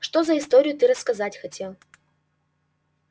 что за историю ты рассказать хотел